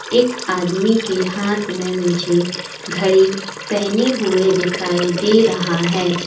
एक आदमी के हाथ में मुझे घड़ी पहने हुई दिखाई दे रहा है।